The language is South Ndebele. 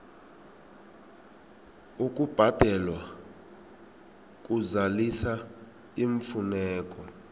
ukubhalelwa kuzalisa iimfuneko